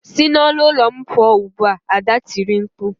Si n'ọnụ ụlọ m pụọ ugbu a! Ada tiri mkpu.